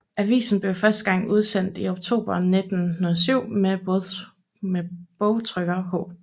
Avisen blev første gang udsendt i oktober 1907 med bogtrykker H